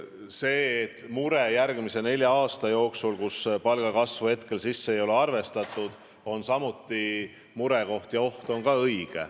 See, et järgmise nelja aasta jooksul me palgakasvu hetkel ei näe, on murekoht.